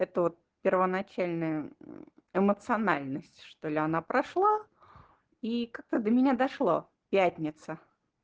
это вот первоначальная эмоциональность что-ли она прошла и как-то до меня дошло пятница